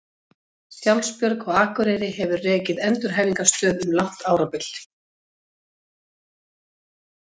Sjálfsbjörg á Akureyri hefur rekið endurhæfingarstöð um langt árabil.